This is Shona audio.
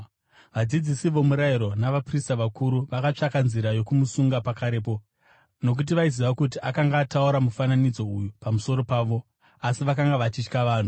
Vadzidzisi vomurayiro navaprista vakuru vakatsvaka nzira yokumusunga pakarepo, nokuti vaiziva kuti akanga ataura mufananidzo uyu pamusoro pavo. Asi vakanga vachitya vanhu.